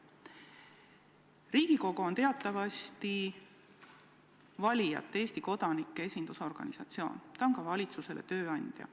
Riigikogu on teatavasti valijate, Eesti kodanike esindusorganisatsioon, ta on ka valitsusele tööandja.